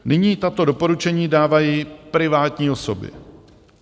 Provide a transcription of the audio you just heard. Nyní tato doporučení dávají privátní osoby.